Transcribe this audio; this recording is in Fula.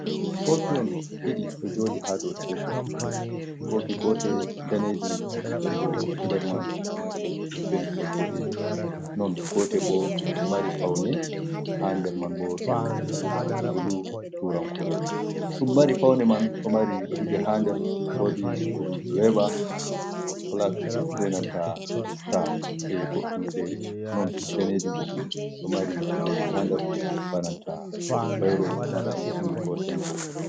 "Koofihon" ɗiɗi ɗo jooɗi haa dow "teebur". Koofi gootel daneejum nden bo nder man ɗo mari pentiwol boɗejum. Non gootel bo ɗo mari pawne haa nder man bo ɗo "buluu" tuurankoore, ɗum mari pawne man ɗo mari kuuje haa nder. Woodi "sukuldireeva, pilaat beenanta staa" e goɗɗum feere. Non daneejum ɗo fuu ɗo mari kuujeeji haa nder bananta bayro marɗum "ink" koo "tempo".